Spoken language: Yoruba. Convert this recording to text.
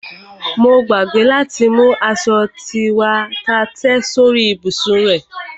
Mo gbàgbé láti mú aṣo tí wà á tẹ́ sórí ìbùsùn rẹ.